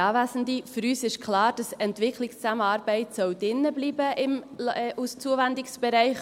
Für uns ist klar, dass «Entwicklungszusammenarbeit» drinbleiben soll als Zuwendungsbereich.